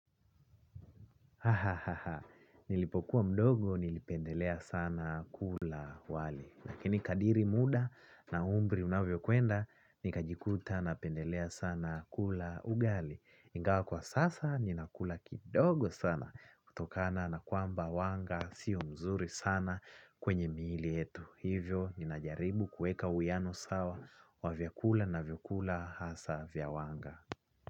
Nilipokuwa kuwa mdogo nilipendelea sana kula wali. Lakini kadiri muda na umri unavyo kwenda, nika jikuta napendelea sana kula ugali. Ingawa kwa sasa, ninakula kidogo sana, kutokana na kwamba wanga, sio mzuri sana kwenye miili yetu. Hivyo, ninajaribu kuweka uwiano sawa, wa vyakula navyokula hasa vya wanga.